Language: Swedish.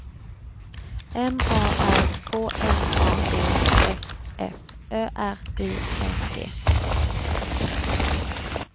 M A R K N A D S F Ö R I N G